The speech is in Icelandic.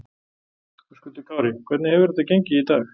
Höskuldur Kári: Hvernig hefur þetta gengið í dag?